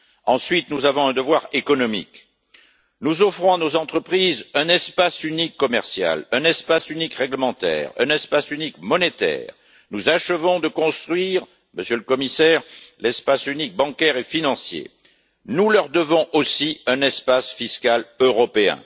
Ensuite, nous avons un devoir économique, nous offrons à nos entreprises, un espace unique commercial, réglementaire, monétaire. Nous achevons de construire, Monsieur le Commissaire, l'espace unique bancaire et financier, nous leur devons aussi un espace fiscal européen.